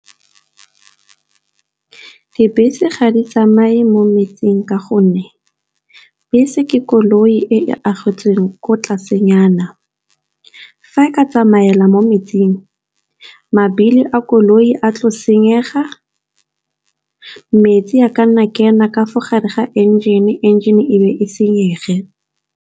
Dibese ga di tsamaye mo metseng ka gonne bese ke koloi e e agetsweng ko tlasenyana. Fa e ka matsamaela mo metseng mabili a koloi a tlo senyega, metsi a ka nna kena kafa gare ga engine, engine ebe e senyege.